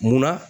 Munna